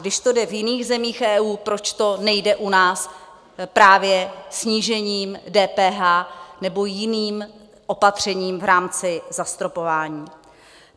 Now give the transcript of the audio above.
Když to jde v jiných zemích EU, proč to nejde u nás právě snížením DPH nebo jiným opatřením v rámci zastropování?